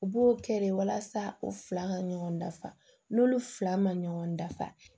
U b'o kɛ de walasa u fila ka ɲɔgɔn dafa n'olu fila ma ɲɔgɔn dafa